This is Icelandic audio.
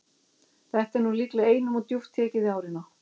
Þetta er nú líklega einum of djúpt tekið í árina.